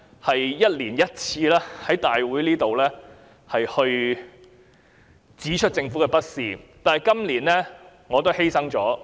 我一年一次在立法會會議上指出政府的不是，但今年我不說了。